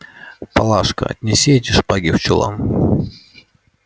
палашка отнеси эти шпаги в чулан